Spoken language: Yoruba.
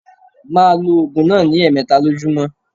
Ma lo ògùn náà ní èmeta lójúmó